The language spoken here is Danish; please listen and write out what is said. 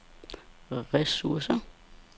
ressourcer